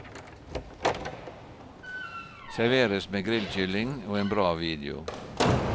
Serveres med grillkylling og en bra video.